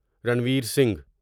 Ranveer Singh